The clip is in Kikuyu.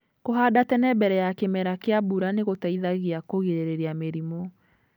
Kũhanda tene mbere ya kĩmera kĩa mbura nĩgũteithagia kũgirĩrĩria mĩrimũ.